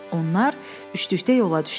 Onlar üçlükdə yola düşdülər.